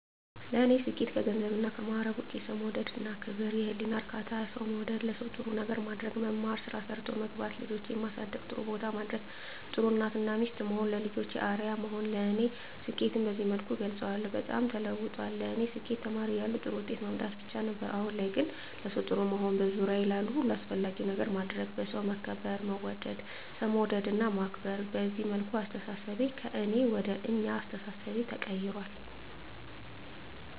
ለኔ ስኬት ከገንዘብና ከማዕረግ ውጭ የሠው መውደድ እና ክብር፤ የህሊና እርካታ፤ ሠው መውደድ፤ ለሠው ጥሩ ነገር ማድረግ፤ መማር፤ ስራ ሠርቶ መግባት፤ ልጆቼን ማሠደግ ጥሩቦታ ማድረስ፤ ጥሩ እናት እና ሚስት መሆን፤ ለልጆቼ አርያ መሆን ለኔ ስኬትን በዚህ መልኩ እገልፀዋለሁ። በጣም ተለውጧል ለኔ ስኬት ተማሪ እያለሁ ጥሩ ውጤት ማምጣት ብቻ ነበር። አሁን ላይ ለሠው ጥሩ መሆን፤ በዙሪያዬ ላሉ ሁሉ አስፈላጊ ነገር ማድረግ፤ በሠው መከበር መወደድ፤ ሠው መውደድ እና ማክበር፤ በዚህ መልኩ አስተሣሠቤ ከእኔ ወደ አኛ አስተሣሠቤ ተቀይራል።